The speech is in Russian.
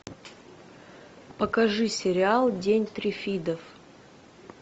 покажи сериал день триффидов